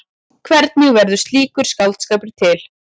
Hvernig verður slíkur skáldskapur til?